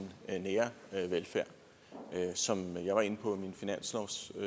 nære velfærd som jeg var inde på